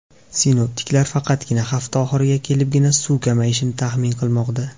Sinoptiklar faqatgina hafta oxiriga kelibgina suv kamayishini taxmin qilmoqda.